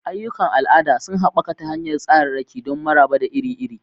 Ayyukan al'ada sun haɓaka ta hanyar tsararraki don maraba da iri-iri.